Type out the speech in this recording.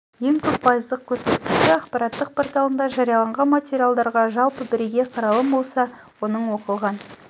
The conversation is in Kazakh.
ең көп пайыздық көрсеткішті ақпараттық порталында жарияланған материалдарға жалпы бірегей қаралым болса оның оқылған